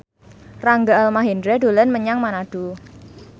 Rangga Almahendra dolan menyang Manado